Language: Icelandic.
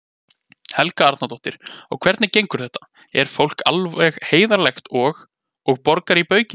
Helga Arnardóttir: Og hvernig gengur þetta, er fólk alveg heiðarlegt og, og borgar í baukinn?